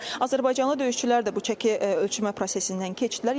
Azərbaycanlı döyüşçülər də bu çəki ölçmə prosesindən keçdilər.